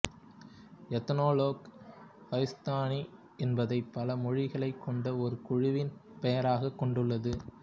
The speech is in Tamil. எத்னோலாக் கோஹிஸ்தானி என்பதை பல மொழிகளைக் கொண்ட ஒரு குழுவின் பெயராகக் கொடுத்துள்ளது